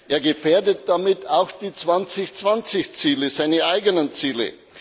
Er gefährdet damit auch die 2020 Ziele, also seine eigenen Ziele.